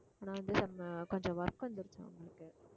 ஆனா வந்து some கொஞ்சம் work வந்துருச்சாம் அவங்களுக்கு